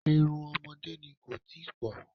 Irun ọmọdé ni, kò tíì pọ̀.